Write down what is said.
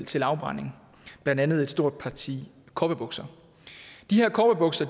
til afbrænding blandt andet et stort parti cowboybukser de her cowboybukser